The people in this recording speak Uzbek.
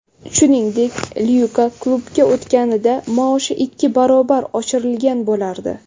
Shuningdek, Lyuka klubga o‘tganida maoshi ikki barobar oshirilgan bo‘lardi.